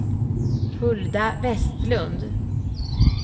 Hulda Vestlund